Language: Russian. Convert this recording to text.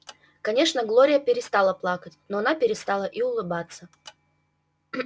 конечно глория перестала плакать но она перестала и улыбаться